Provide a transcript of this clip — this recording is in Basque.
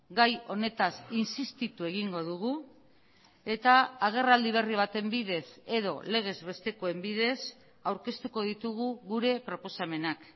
gai honetaz insistitu egingo dugu eta agerraldi berri baten bidez edo legez bestekoen bidez aurkeztuko ditugu gure proposamenak